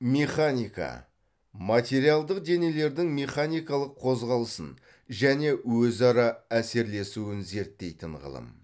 механика материалдық денелердің механикалық қозғалысын және өзара әсерлесуін зерттейтін ғылым